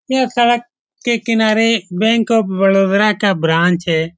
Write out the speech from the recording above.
यह सड़क के किनारे बैंक ऑफ़ बड़ोदरा का ब्रांच है।